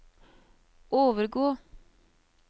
overgå